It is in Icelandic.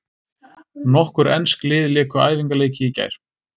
Nokkur ensk lið léku æfingaleiki í gær.